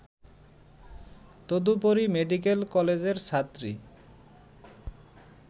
তদুপরি মেডিকেল কলেজের ছাত্রী